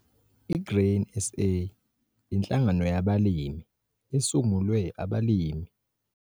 I-Grain SA- Inhlangano yabalimi esungulwe abalimi